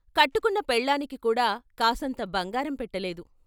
కట్టుకున్న పెళ్ళానికి కూడా కాసంత బంగారం పెట్టలేదు.